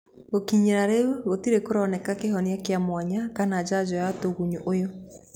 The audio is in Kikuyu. Gũkinyĩria rĩu, gũtirĩ kũroneka kĩhonia kĩa mwanya kana njanjo ya tũgunyũũyũ.